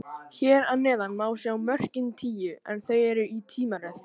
Hér að neðan má sjá mörkin tíu, en þau eru í tímaröð.